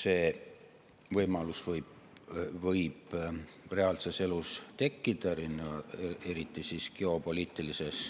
See võib reaalses elus tekkida, eriti selles geopoliitilises